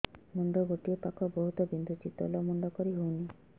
ମୁଣ୍ଡ ଗୋଟିଏ ପାଖ ବହୁତୁ ବିନ୍ଧୁଛି ତଳକୁ ମୁଣ୍ଡ କରି ହଉନି